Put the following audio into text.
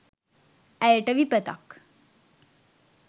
ඇයට විපතක්